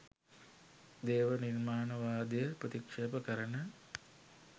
දේව නිර්මාණවාදය ප්‍රතික්ෂේප කරන